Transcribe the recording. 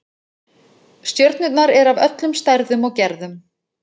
Stjörnurnar eru af öllum stærðum og gerðum.